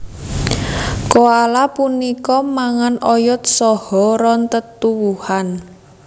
Koala punika mangan oyot saha ron tetuwuhan